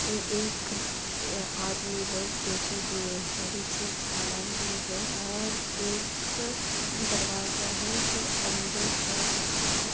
ये एक आदमी लोग बैठे हुए है | पीछे जड़ा भी हे और एक दरवाजा हे जो अन्दर जासकते है |